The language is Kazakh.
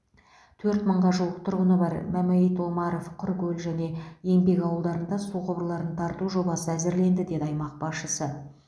төрт мыңға жуық тұрғыны бар мәмәйіт омаров құркөл және еңбек ауылдарында су құбырларын тарту жобасы әзірленді деді аймақ басшысы